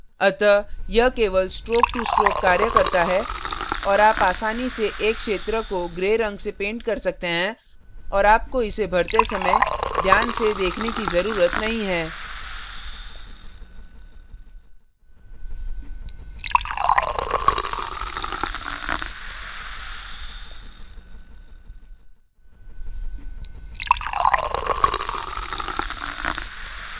अतः यह केवल stroke to stroke कार्य करता है और आप आसानी से एक क्षेत्र को gray रंग से paint कर सकते हैं और आपको इसे भरते समय ध्यान से देखने की जरूरत नहीं है